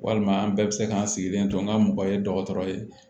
Walima an bɛɛ bɛ se ka n sigilen to n ka mɔgɔ ye dɔgɔtɔrɔ ye